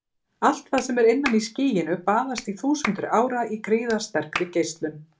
Allt það sem er innan í skýinu baðast í þúsundir ára í gríðarsterkri geislun.